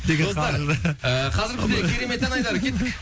достар қазір бізде керемет ән айдары кеттік